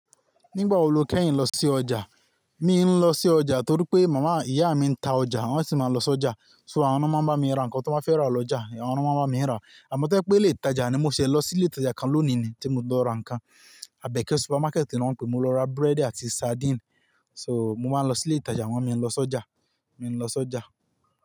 Nígbà wo lo kẹ́yìn lọ sí ọjà? Mí n lọ sí ọjà torí pé màmá, ìyá mi ń ta ọjà, wọ́n sì máa ń lọ sí ọjà. So àwọn ná máa ń bá mi ra nǹkan tán bá fẹ́ rà lọjà, àwọn na máa ń bámi rà. Àmọ́ tó bá jépé ilé ìtajà ni mo ṣe lọ sí ilé ìtajà kan lónìí ni tí mo ti lọ ra nǹkan. Abẹ́kẹ́ supermarket ni wọ́n pe, mo lọ ra búrẹ́dì àti sardine. So mo máa ń lọ sí ilé ìtajà, àmó mio ń lọ sí ọjà. Mí n lọ sí ọjà.